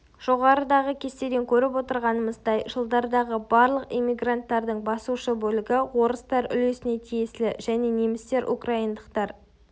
жоғарыдағы кестеден көріп отырғанымыздай жылдардағы барлық эммигранттардың басушы бөлігі орыстар үлесіне тиесілі және немістер украиндықтар